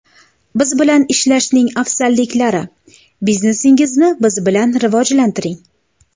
Biz bilan ishlashning afzalliklari: Biznesingizni biz bilan rivojlantiring!